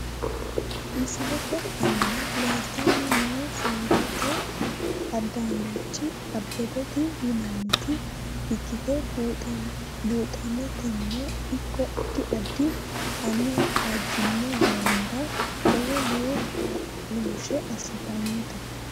Misilete aana leeltani noo soorete adaanechi abebete yinanita ikite buxaneteno ikko adi adi anha ajino manira lowo lowo kaaloshe asitanote.